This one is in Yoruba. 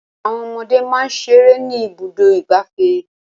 Àwọn ọmọdé máa ń ṣeré ní Ibùdó-ìgbafẹ́.